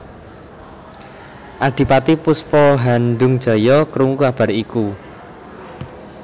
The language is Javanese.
Adipati Puspahandungjaya krungu kabar iku